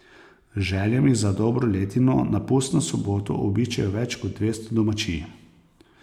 Z željami za dobro letino na pustno soboto obiščejo več kot dvesto domačij.